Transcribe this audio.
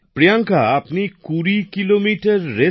প্রিয়াঙ্কা আপনি ২০ kilometre race